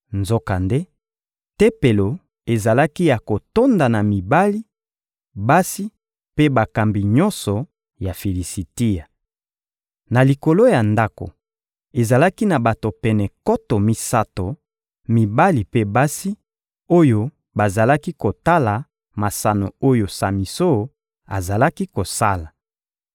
Nzokande, tempelo ezalaki ya kotonda na mibali, basi mpe bakambi nyonso ya Filisitia. Na likolo ya ndako, ezalaki na bato pene nkoto misato, mibali mpe basi, oyo bazalaki kotala masano oyo Samison azalaki kosala.